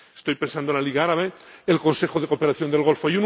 Estoy pensando en la Liga Árabe y en el Consejo de Cooperación del Golfo.